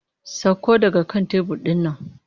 Sakko daga kan tebur ɗin nan!